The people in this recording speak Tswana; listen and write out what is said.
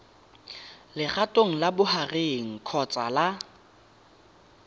legatong la bogareng kgotsa la